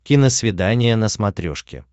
киносвидание на смотрешке